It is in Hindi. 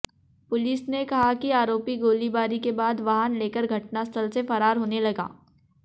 पुलिस ने कहा कि आरोपी गोलीबारी के बाद वाहन लेकर घटनास्थल से फरार होने लगा